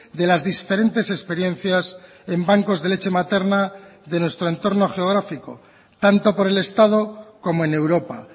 de las diferentes experiencias en bancos de leche materna de nuestro entorno geográfico tanto por el estado como en europa